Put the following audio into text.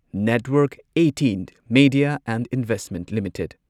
network eighteen media and investment limited